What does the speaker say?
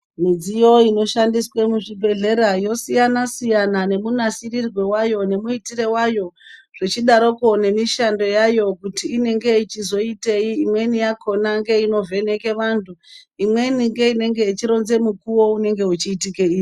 Midziyo inoshandiswe muzvibhedlera yosiyana siyana ,nemunasirirwe wayo, nemuitire wayo zvichidaropo nemishando yayo kuti inenge ichizoiteyi ,imweni yakona ngeinovheneke vantu, imweni ngeinenenge ichironzerwa mukuwo unenge uchiitikeyi.